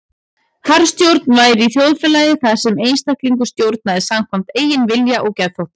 Harðstjórn væri í þjóðfélagi þar sem einstaklingur stjórnaði samkvæmt eigin vilja og geðþótta.